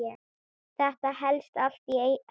Þetta helst allt í hendur.